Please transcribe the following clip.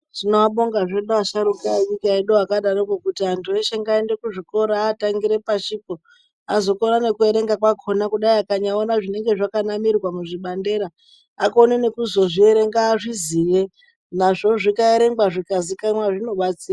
Tinoabonga asharuka enyika yedu akadaroko kuti antu eshe ngaaende kuzvikora, aatangire pashipo, azokona nekuerenga kwakhona kudai akaona zvinenge zvakanamirwa muzvibandera akone nekuzozvierenga azviziye, nazvo zvikaerengwa zvikazikanwa zvinobatsira.